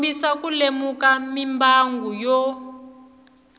kombisa ku lemuka mimbangu yo